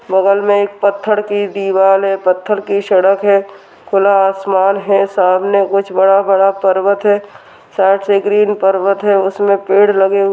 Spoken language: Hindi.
बगल मे एक पत्थर की दीवाल है पत्थर की सड़क है खुला आसमान है सामने कुछ बड़ा-बड़ा पर्वत है साइड से ग्रीन पर्वत है उसमे पैड लगे हुए --